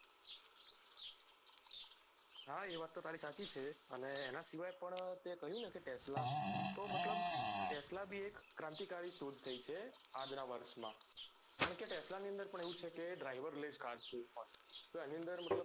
હા એ વાત તો તારી સાચી છે હા એના સિવાય પણ તે કહ્યું ને કે tesla તો મતલબ tesla ભી એક ક્રાંતિકારી શોધ થઇ છે આજના વર્ષમા કારણ કે tesla ના અંદર કેવું છે કે driver less car છે તો એની અંદર મતલબ